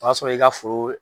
O y'a sɔrɔ i ka foro